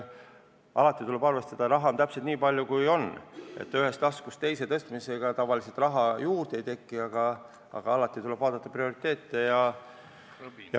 Alati tuleb arvestada, et raha on täpselt nii palju, kui on, ühest taskust teise tõstmisega tavaliselt raha juurde ei teki, aga tuleb vaadata prioriteete.